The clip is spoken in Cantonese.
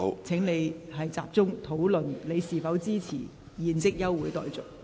請你集中討論是否支持現即休會待續。